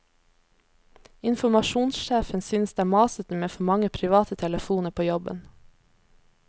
Informasjonssjefen synes det er masete med for mange private telefoner på jobben.